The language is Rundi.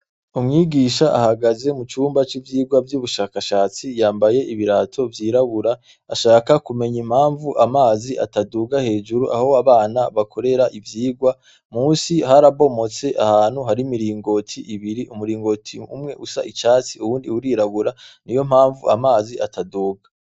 Umwigisha ahagaze mucumba c'ivyigwa vy'ubushakashatsi yambaye ibirato vyirabura ashaka kumenya impanvu amazi ataduga hejuru aho abana bakorera ivyigwa, munsi harabomotse ahantu hari imiringoti ibiri, umuringoti umwe usa icatsi uwundi urirabura niyompanvu amazi ataduga.